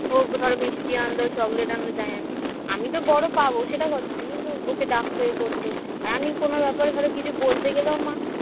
ওগো ধরো মিষ্টি আনল চকলেট আনল যাই আনুক আমি তো বড় পাবো সেটা কথা না কিন্তু ওকে ডাকত এ করত আর আমি কোন ব্যাপারে ধরো কিছু কিছু বলতে গেলেও মা